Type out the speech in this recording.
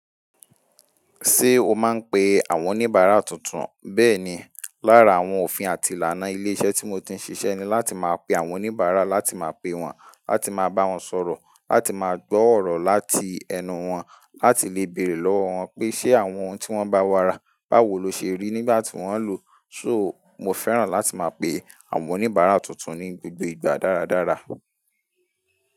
Ṣé o máa ń pe àwọn oníbàárà tuntun? Bẹ́ẹ̀ni, lára àwọn òfin àti ìlànà ilé iṣẹ́ tí mo ti ń ṣiṣẹ́ ni láti máa pe àwọn oníbàárà, láti máa pe wọ́n, láti máa bá wọn sọ̀rọ̀, láti máa gbọ́ ọ̀rọ̀ láti ẹnu wọn, láti lè bèrè lọ́wọ́ wọn pé ṣe àwọn ohun tí wọ́n bá wàrà, báwo lo ṣe rí nígbà tí wọ́n ń lò ó. So mo fẹ́ràn láti máa pe àwọn oníbàárà tuntun ní gbogbo ìgbà dáradára.